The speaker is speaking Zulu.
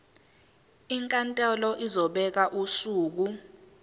inkantolo izobeka usuku